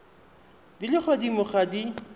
di le godimo ga di